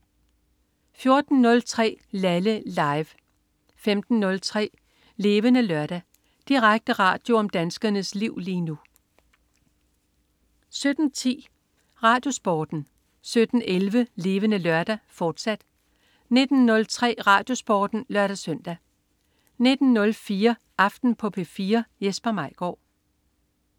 14.03 Laleh. Live 15.03 Levende Lørdag. Direkte radio om danskernes liv lige nu 17.10 RadioSporten 17.11 Levende Lørdag, fortsat 19.03 RadioSporten (lør-søn) 19.04 Aften på P4. Jesper Maigaard